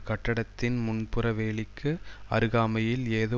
கட்டிடத்தின் முன்புற வேலிக்கு அருகாமையில் ஏதோ